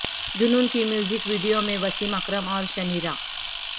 جنون کی music video میں وسیم اکرم اور شنیرہ